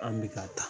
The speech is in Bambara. An bɛ ka taa